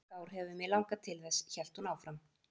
Í mörg ár hefur mig langað til þess, hélt hún áfram.